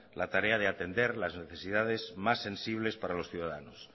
la tarea de atender las necesidades más sensibles para los ciudadanos